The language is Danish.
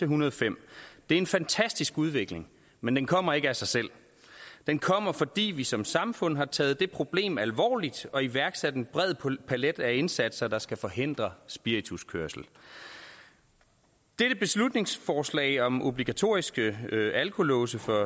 hundrede og fem det er en fantastisk udvikling men den kommer ikke af sig selv den kommer fordi vi som samfund har taget det problem alvorligt og iværksat en bred palet af indsatser der skal forhindre spirituskørsel dette beslutningsforslag om obligatoriske alkolåse for